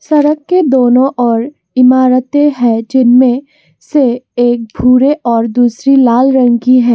सड़क के दोनों ओर इमारतें हैं जिनमें से एक भूरे और दूसरी लाल रंग की है।